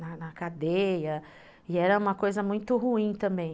na cadeia, e era uma coisa muito ruim também.